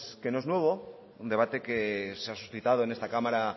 que no es nuevo es un debate que se ha suscitado en esta cámara